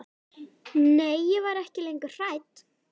Nei, ég var ekki lengur hrædd.